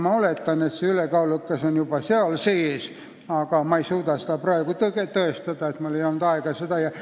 Ma oletan, et sõna "ülekaalukas" on juba seal sees, aga ma ei suuda seda praegu tõestada – mul ei olnud aega seda uurida.